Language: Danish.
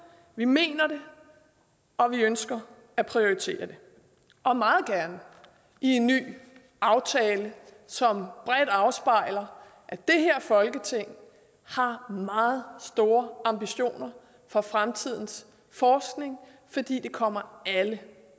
vi mener det og vi ønsker at prioritere det og meget gerne i en ny aftale som bredt afspejler at det her folketing har meget store ambitioner for fremtidens forskning fordi den kommer alle